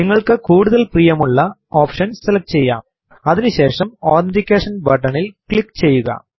നിങ്ങള്ക്കു കൂടുതല് പ്രീയമുള്ള ഓപ്ഷൻ സെലക്ട് ചെയ്യാം അതിനു ശേഷം അതെന്റിക്കേഷൻ ബട്ടണിൽ ക്ലിക്ക് ചെയ്യുക